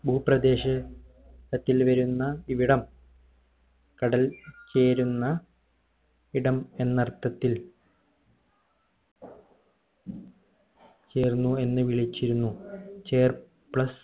ഭൂപ്രദേശ ത്തിൽ വരുന്ന ഇവിടം കടൽ ചേരുന്ന ഇടം എന്നർത്ഥത്തിൽ ചേർന്നു എന്ന് വിളിച്ചിരുന്നു ചേർ plus